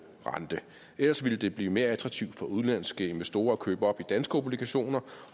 rente ellers ville det blive mere attraktivt for udenlandske investorer at købe op i danske obligationer